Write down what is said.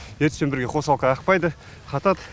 ертіспен бірге қосалқы ақпайды қатады